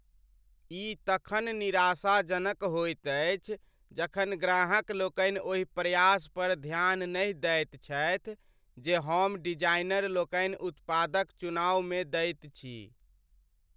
ई तखन निराशाजनक होइत अछि जखन ग्राहकलोकनि ओहि प्रयास पर ध्यान नहि दैत छथि जे हम डिजाइनरलोकनि उत्पादक चुनावमे दैत छी।